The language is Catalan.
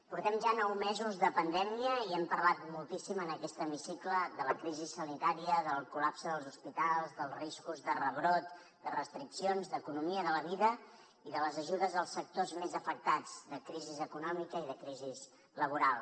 portem ja nou mesos de pandèmia i hem parlat moltíssim en aquest hemicicle de la crisi sanitària del col·lap se dels hospitals dels riscos de rebrot de restriccions d’economia de la vida i de les ajudes als sectors més afectats de crisi econòmica i de crisi laboral